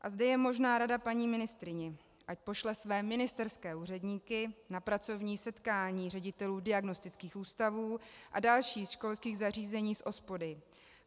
A zde je možná rada paní ministryni, ať pošle své ministerské úředníky na pracovní setkání ředitelů diagnostických ústavů a dalších školských zařízení s OSPODy.